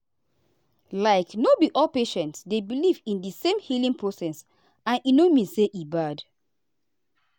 like no be all patients dey believe in the same healing process and e no mean say e bad.